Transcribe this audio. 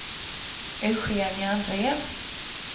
Eugenia Andrén